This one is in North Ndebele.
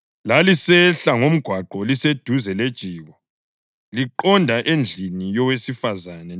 Lalisehla ngomgwaqo liseduze lejiko, liqonda endlini yowesifazane